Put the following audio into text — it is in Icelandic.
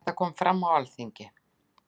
Þetta kom fram á Alþingi.